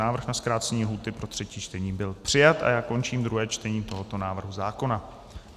Návrh na zkrácení lhůty pro třetí čtení byl přijat a já končím druhé čtení tohoto návrhu zákona.